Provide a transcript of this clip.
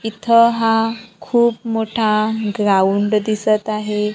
इथ हा खूप मोठा ग्राउंड दिसत आहे.